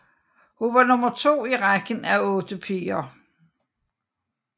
Hun var nummer to i rækken af otte piger